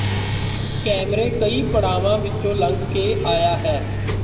ਕੈਮਰੇ ਕਈ ਪੜਾਵਾਂ ਵਿਚੋਂ ਲੰਘ ਕੇ ਆਇਆ ਹੈ